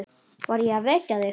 Var ég að vekja þig?